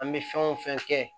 An bɛ fɛn o fɛn kɛ